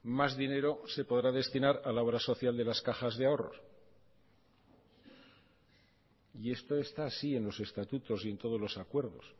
más dinero se podrá destinar a la obra social de las cajas de ahorros y esto está así en los estatutos y en todos los acuerdos